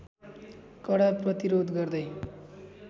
कडा प्रतिरोध गर्दै